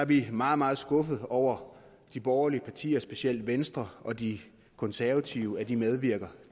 vi meget meget skuffede over at de borgerlige partier specielt venstre og de konservative medvirker